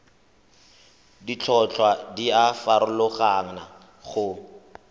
ditlhotlhwa di a farologana go